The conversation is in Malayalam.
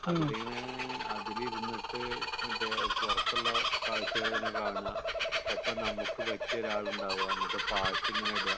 അതിൽ ഇങ്ങനെ അതിൽ ഇരുന്നിട്ട് പുറത്തുള്ള കാഴ്ചകളൊക്കെ കാണുക ഒപ്പം നമുക്ക് പറ്റിയ ഒരാളുണ്ടാവുക എന്ന പാട്ടു ഇങ്ങനെ ഇടുക